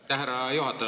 Aitäh, härra juhataja!